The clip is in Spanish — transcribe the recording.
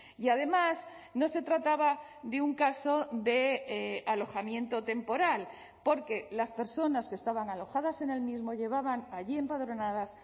y además no se trataba de un caso de alojamiento temporal porque las personas que estaban alojadas en el mismo llevaban allí empadronadas